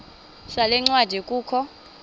sale ncwadi kukho